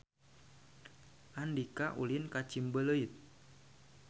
Andika ulin ka Ciumbuleuit